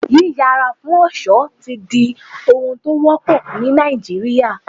Yí yà ara fún ọ̀ṣọ́ ti ń di ohun tó wọ́pọ̀ ni Nàìjíríà.